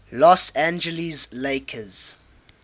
los angeles lakers